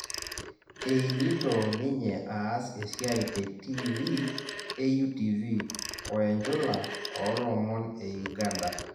Einito ninye aas esiai te tivii e UTV oe njula oo lomon e Uganda